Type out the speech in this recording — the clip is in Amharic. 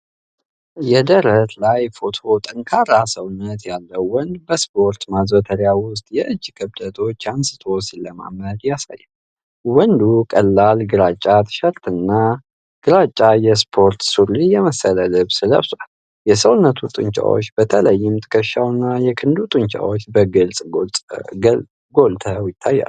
የደረት ላይ ፎቶ ጠንካራ ሰውነት ያለው ወንድ በስፖርት ማዘውተሪያ ውስጥ የእጅ ክብደቶች አንስቶ ሲለማመድ ያሳያል። ወንዱ ቀላል ግራጫ ቲሸርትና ግራጫ የስፖርት ሱሪ የመሰለ ልብስ ለብሷል። የሰውነቱ ጡንቻማነት፣ በተለይም ትከሻውና የክንዱ ጡንቻዎች፣ በግልጽ ጎልተው ይታያሉ።